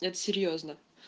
это серьёзно